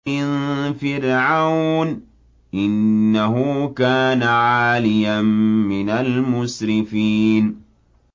مِن فِرْعَوْنَ ۚ إِنَّهُ كَانَ عَالِيًا مِّنَ الْمُسْرِفِينَ